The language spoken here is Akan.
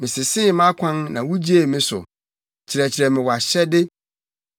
Mesesee mʼakwan na wugyee me so; kyerɛkyerɛ me wʼahyɛde.